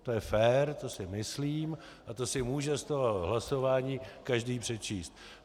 To je fér, to si myslím a to si může z toho hlasování každý přečíst.